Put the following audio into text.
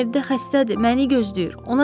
Anam evdə xəstədir, məni gözləyir.